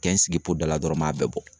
Kɛ n sigi po dala dɔrɔn n m'a bɛɛ bɔ